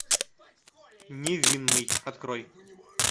невинный открой